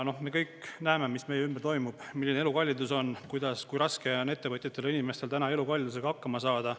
Me kõik näeme, mis meie ümber toimub, milline elukallidus on, kui raske on ettevõtjatel ja inimestel täna elukallidusega hakkama saada.